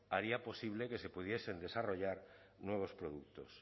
haría posible que se pudiesen desarrollar nuevos productos